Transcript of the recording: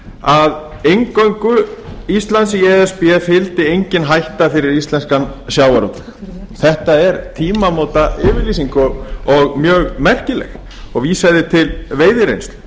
að eingöngu íslandi í e s b fylgdi enginn hætta fyrir íslenskan sjávarútveg þetta er tímamótayfirlýsing og mjög merkileg og vísaði til veiðireynslu